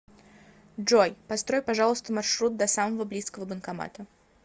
джой построй пожалуйста маршрут до самого близкого банкомата